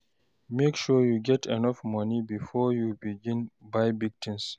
Make sure you get enough money before begin buy big tins.